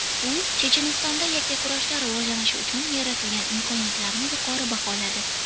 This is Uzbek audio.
U Chechenistonda yakkakurashlar rivojlanishi uchun yaratilgan imkoniyatlarni yuqori baholadi.